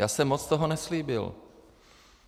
Já jsem moc toho neslíbil.